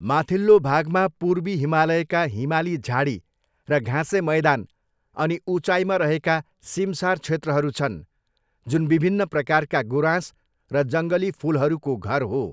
माथिल्लो भागमा पूर्वी हिमालयका हिमाली झाडी र घाँसे मैदान अनि उचाइमा रहेका सिमसार क्षेत्रहरू छन्, जुन विभिन्न प्रकारका गुराँस र जङ्गली फुलहरूको घर हो।